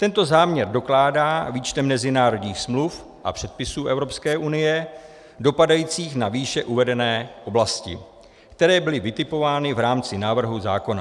Tento záměr dokládá výčtem mezinárodních smluv a předpisů Evropské unie dopadajících na výše uvedené oblasti, které byly vytipovány v rámci návrhu zákona.